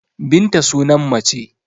Binta sunan mace